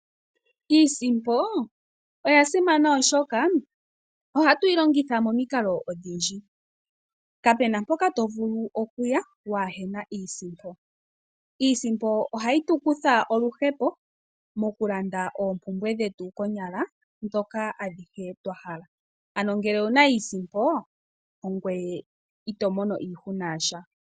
Iisimpo oya simana oshoka oha twilongitha momiikalo odhindji kapena poka tovulu okuya wahena iisimpo, iisimpo oha yitukutha oluhepo mokulanda opumbwe dhetu konyala dhoka adhihe twahala, ano ngele owuna iisimpo ongweye itomono iihuna yasha.